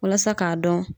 Walasa k'a dɔn